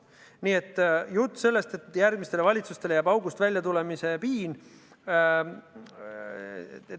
Nii et jutt sellest, et järgmistele valitsustele jääb august välja tulemise piin,.